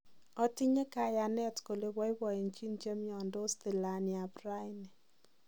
Otinye kayanet kole boiboenjin chemiondos tilani eb raani.